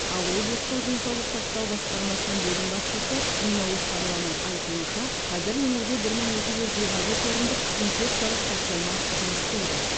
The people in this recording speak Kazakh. ал облыстық денсаулық сақтау басқармасының бөлім басшысы нина оспанованың айтуынша қазір өңірде бір мың екі жүз жиырма бес орындық инфекциялық стационар жұмыс істейді